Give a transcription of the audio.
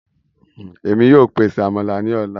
Èmi yóò pèsè Àmàlà ní ọla